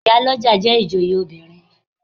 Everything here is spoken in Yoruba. Ìyálọ́jà jẹ́ ìjòyè obìnrin.